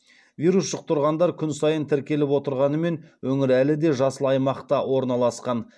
вирус жұқтырғандар күн сайын тіркеліп отырғанымен өңір әлі де жасыл аймақта орналасқан